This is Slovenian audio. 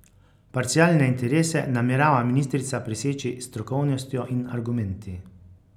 Parcialne interese namerava ministrica preseči s strokovnostjo in argumenti.